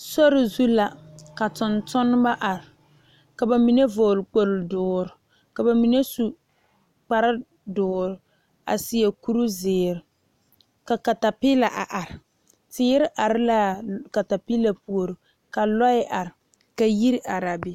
Sori zu la ka tontuma are ka bamine vɔgle kpol doɔre ka bamine su kpare doɔre a seɛ kuri ziiri ka katapila a are teere do are la a katapila puori ka lɔɛ are ka yiri are a be.